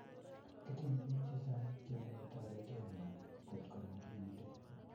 Kitinye biik chechang chemechee toretenyo kotgo magiiti